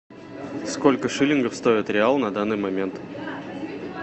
сколько шиллингов стоит реал на данный момент